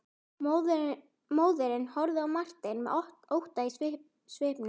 Móðirin horfði á Martein með ótta í svipnum.